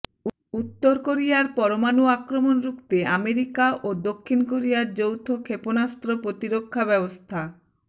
উত্তর কোরিয়ার পরমাণু আক্রমণ রুখতে আমেরিকা ও দক্ষিণ কোরিয়ার যৌথ ক্ষেপণাস্ত্র প্রতিরক্ষা ব্যবস্থা